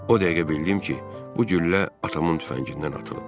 O dəqiqə bildim ki, bu güllə atamın tüfəngindən atılıb.